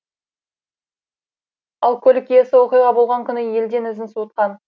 ал көлік иесі оқиға болған күні елден ізін суытқан